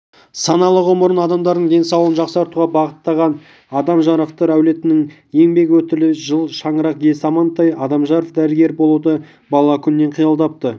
саналы ғұмырын адамдардың денсаулығын жақсартуға бағыттаған алдамжаровтар әулетінің еңбек өтілі жыл шаңырақ иесі амантай алдамжаров дәрігер болуды бала күнінен қиялдапты